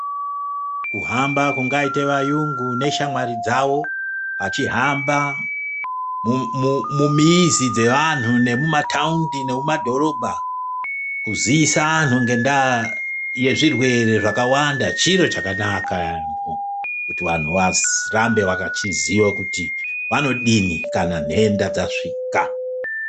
Kuhamba kungaite vayungu neshamwari dzawo vachihamba mumizi dzevanhu nemumataundi nemumadhorobha kuziisa anhu ngendaa yezvirwere zvakawanda chiro chakanaka yaamho kuti vanhu varambe vechiziya kuti vanodini kana nhenda dzasvika.